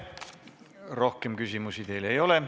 Rohkem küsimusi teile ei ole.